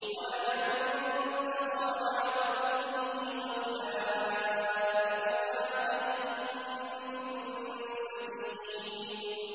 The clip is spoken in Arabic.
وَلَمَنِ انتَصَرَ بَعْدَ ظُلْمِهِ فَأُولَٰئِكَ مَا عَلَيْهِم مِّن سَبِيلٍ